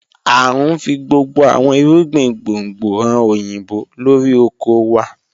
A ń fi gbogbo àwọn ìrúgbìn gbóngbò hàn oyinbó lọ́rí ọkọ̀ wà.